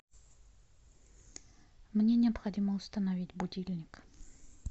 мне необходимо установить будильник